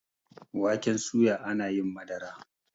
waken soya ana yin Madara